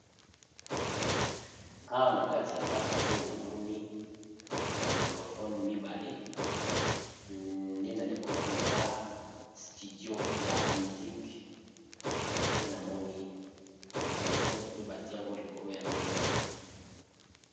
Awa na kati ya ndako oyo namoni bamicrofone mibale nde nalikomona eza studio ya musike nde namoni bamicrofone oyo bati yango likolo ya mesa.